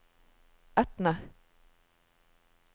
Etne